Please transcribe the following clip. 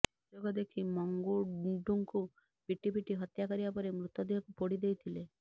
ସୁଯୋଗ ଦେଖି ମଙ୍ଗୁଡୁଙ୍କୁ ପିଟି ପିଟି ହତ୍ୟା କରିବା ପରେ ମୃତଦେହକୁ ପୋଡ଼ି ଦେଇଥିଲେ